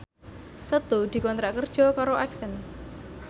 Setu dikontrak kerja karo Accent